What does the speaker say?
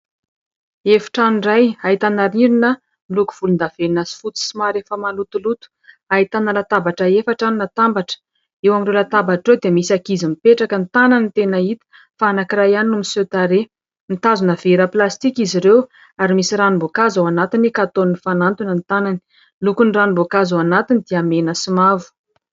Efitrano iray ahitana rindrina miloko volondavenona sy fotsy somary efa malotoloto. Ahitana latabatra efatra natambatra. Eo amin'ireo latabatra ireo dia misy ankizy mipetraka, ny tanany no tena hita, fa anankiray ihany no miseho tarehy. Mitazona vera plastika izy ireo ary misy ranom-boankazo ao anatiny ka ataony mifanantona ny tanany. Ny lokon'ny ranom-boankazo ao anatiny dia mena sy mavo.